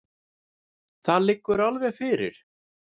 Það liggur alveg fyrir.